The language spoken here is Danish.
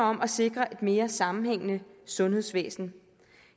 om at sikre et mere sammenhængende sundhedsvæsen